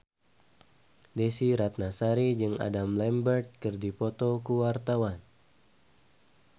Desy Ratnasari jeung Adam Lambert keur dipoto ku wartawan